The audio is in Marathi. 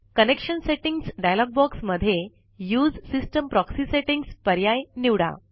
कनेक्शन सेटिंग्ज डायलॉग बॉक्स मध्ये उसे सिस्टम प्रॉक्सी सेटिंग्ज पर्याय निवडा